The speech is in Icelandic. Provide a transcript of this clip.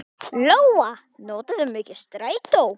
Lóa: Notarðu mikið strætó?